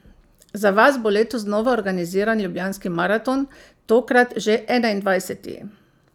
Za vas bo letos znova organiziran Ljubljanski maraton, tokrat že enaindvajseti.